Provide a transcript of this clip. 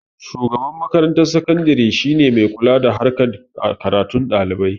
shugaban makarantar sakadire shine mai kula da harkan karatun dalibai